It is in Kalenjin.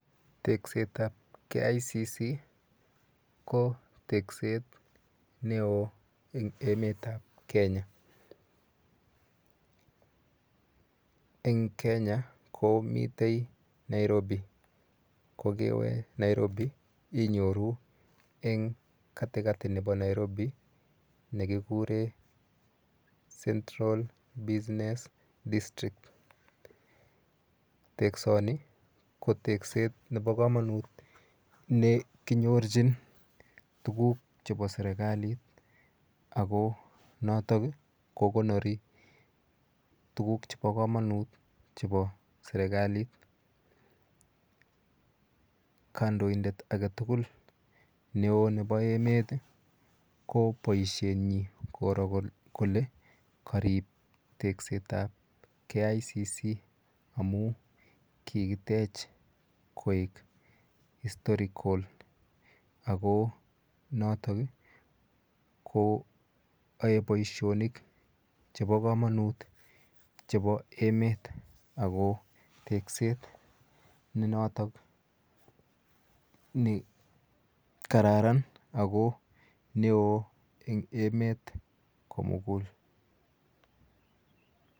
Teksetap KICC ko tekset neo eng emetap Kenya. Eng Kenya komite Nairobi. Kokewe Nairobi inyoru eng katikati nepo Nairobi nekikure central business district. Teksoni ko tekset nepo komonut nekinyorchin tuguk chepo serikalit akonotok kokonori tuguk chepo komonut chepo serikalit. Kandoindet aketugul neo nepo emet ko boishenyi koro kole karip teksetap KICC amu kikitech koek historical ako notok ko oe boishonik chepo komonut chepo emet ako tekset ne notok ni kararan ako neo eng emet komugul.